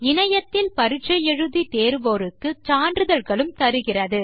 இணையத்தில் பரிட்சை தேர்வோருக்கு சான்றிதழ்களும் தருகிறது